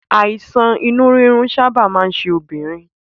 Àìsàn inú rírun sábà máa ń ṣe obìnrin